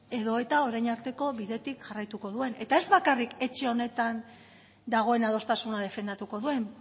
edo eta orain arteko bidetik jarraituko duen eta ez bakarrik etxe honetan dagoen adostasuna defendatuko duen